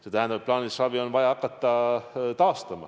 See tähendab, et plaanilist abi on vaja hakata taastama.